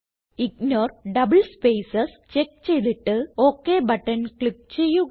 ignore double spaces check ചെയ്തിട്ട് ok button click ചെയ്യുക